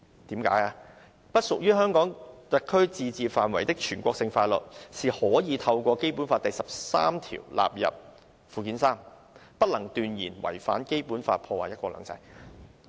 因為不屬於香港特區自治範圍的全國性法律，是可以透過《基本法》第十三條納入附件三，不能斷言違反《基本法》，破壞"一國兩制"。